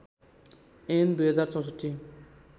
ऐन २०६४